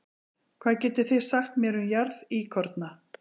Hvað getið þið sagt mér um jarðíkorna?